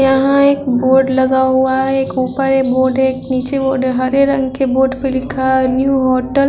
यहाँ एक बोर्ड लगा हुआ है एक ऊपर एक बोर्ड है एक निचे बोर्ड है हरे रंग के बोर्ड पे लिखा है न्यू होटल --